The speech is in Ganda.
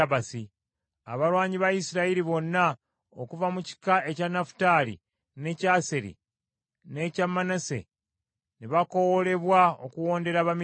Abalwanyi ba Isirayiri bonna okuva mu kika ekya Nafutaali n’ekya Aseri n’ekya Manase, ne bakoowoolebwa okuwondera Abamidiyaani.